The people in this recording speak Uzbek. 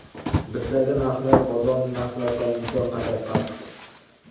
Bizdagi narxlar bozor narxlaridan imkon qadar past.